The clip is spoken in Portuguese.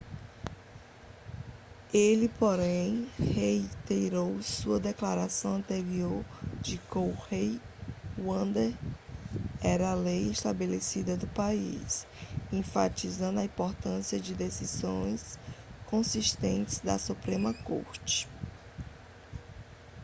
ele porém reiterou sua declaração anterior de que roe v wade era a lei estabelecida do país enfatizando a importância de decisões consistentes da suprema corte